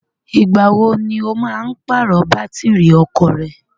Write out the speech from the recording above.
Ìgbàwo ni ó máa ń pàrọ̀ bátìrì ọkọ̀ rẹ?